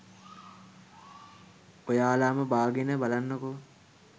ඔයාලම බාගෙන බලන්නකෝ